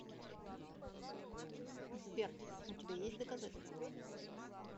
сбер у тебя есть доказательства